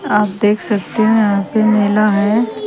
आप देख सकते हैं यहां पे मेला है।